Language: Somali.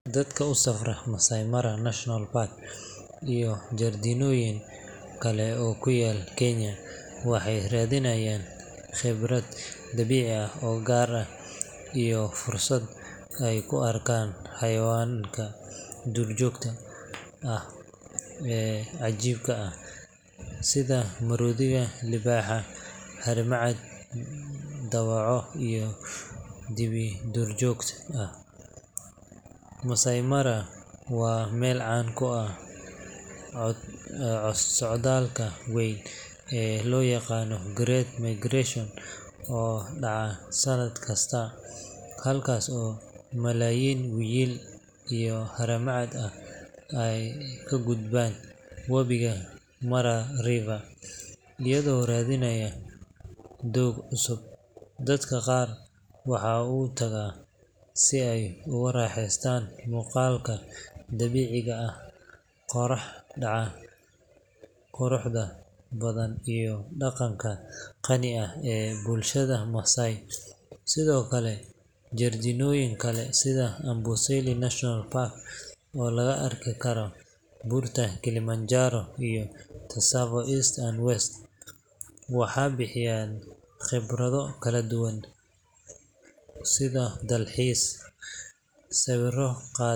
Dadka u safra Maasai Mara National Park iyo jardiinooyin kale oo ku yaal Kenya waxay raadinayaan khibrad dabiici ah oo gaar ah iyo fursad ay ku arkaan xayawaanka duurjoogta ah ee cajiibka ah sida maroodiga, libaaxa, harimacad, dawaco iyo dibi duurjoog ah. Maasai Mara waa meel caan ku ah socdaalka weyn ee loo yaqaan Great Migration oo dhaca sannad kasta, halkaas oo malaayiin wiyil iyo haramcad ah ay ka gudbaan wabiga Mara River iyagoo raadinaya doog cusub. Dadka qaar waxay u tagaan si ay ugu raaxaystaan muuqaalka dabiiciga ah, qorrax dhaca quruxda badan iyo dhaqanka qani ah ee bulshada Maasai. Sidoo kale, jardiinooyin kale sida Amboseli National Park, oo laga arki karo buurta Kilimanjaro, iyo Tsavo East and West, waxay bixiyaan khibrado kala duwan sida dalxiis, sawir.